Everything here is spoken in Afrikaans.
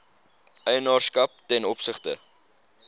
eienaarskap ten opsigte